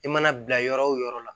I mana bila yɔrɔ o yɔrɔ la